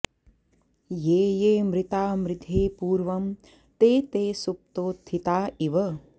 ये ये मृता मृधे पूर्वं ते ते सुप्तोत्थिता इव